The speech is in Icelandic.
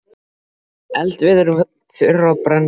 Eldiviðurinn var þurr og brann fljótt.